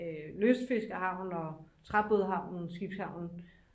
lystfiskerhavn og træbådshavnen skibshavnen